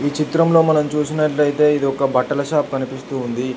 చిత్రంలో మనం చూసినట్లయితే ఇది ఒక బట్టల షాప్ కనిపిస్తు ఉంది.